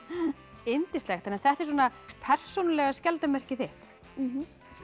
yndislegt þetta er svona persónulega skjaldarmerkið þitt